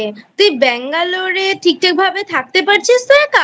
তুই Bangalore ঠিকঠাকভাবে থাকতে পারছিস তো একা?